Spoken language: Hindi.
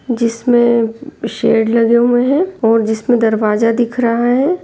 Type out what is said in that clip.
जिसमे शेड लगे हुए हैं ओर जिसमे दरवाजा दिख रहा है ।